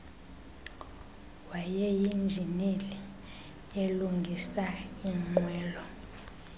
wayeyinjineli elungisa iinqwelo